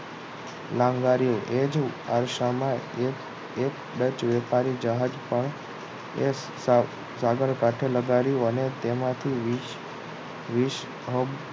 લાગણી એ જ આડસામાં એક જ વેપારી જહાજ એક સાગર કાઢે લગાડ્યું અને તેમાંથી વીસ વીસ